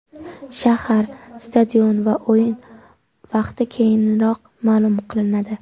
Shahar, stadion va o‘yin vaqti keyinroq ma’lum qilinadi.